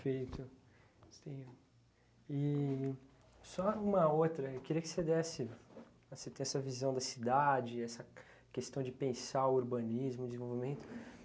Sim. E só uma outra queria que você desse a se ter a visão da cidade, essa questão de pensar o urbanismo, o desenvolvimento.